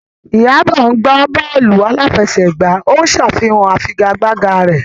Iyabo gbá bọ́ọ̀lù aláfẹsẹ̀gbá, ó ń ṣàfihàn ìfigagbága rẹ̀.